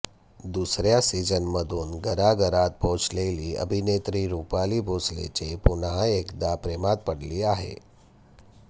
दुसऱ्या सीझनमधून घराघरात पोहचलेली अभिनेत्री रुपाली भोसलेचे पुन्हा एकदा प्रेमात पडली आहे